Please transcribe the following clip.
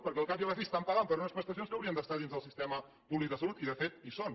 perquè al cap i a la fi estan pagant per unes prestacions que haurien d’estar dins del sistema públic de salut i de fet hi són